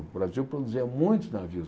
O Brasil produzia muitos navios.